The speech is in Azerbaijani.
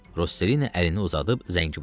Rosselini əlini uzadıb zəngi basdı.